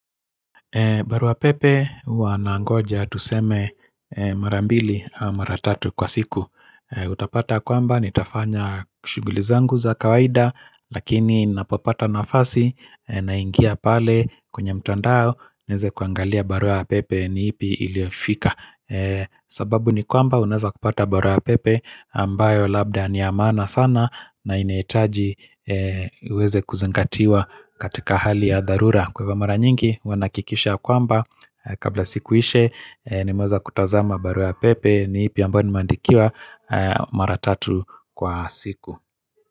Barua pepe huwa nangoja tuseme mara mbili au mara tatu kwa siku. A utapata kwamba nitafanya shughuli zangu za kawaida. Lakini napopata nafasi, naingia pale kwenye mtandao nieze kuangalia barua pepe ni ipi iliofika. Sababu ni kwamba unaeza kupata barua ya pepe, ambayo labda ni ya maana sana, na ineetaji e uweze kuzengatiwa katika hali ya dharura. Kwa ivo mara nyingi huwa nakikisha ya kwamba, kabla siku ishe, e nimeweza kutazama barua ya pepe ni ipi ambao nimeandikiwa, e mara tatu kwa siku.